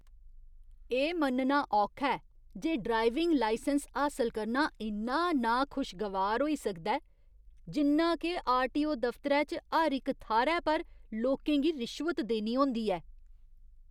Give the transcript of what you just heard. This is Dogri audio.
एह् मन्नना औखा ऐ जे ड्राइविंग लाइसैंस हासल करना इन्ना नाखुशगवार होई सकदा ऐ जिन्ना के आरटीओ दफतरै च हर इक थाह्‌रै पर लोकें गी रिश्वत देनी होंदी ऐ।